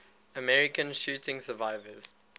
american shooting survivors